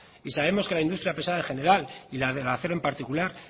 y sabemos que la industria pesada en general y la del acero en particular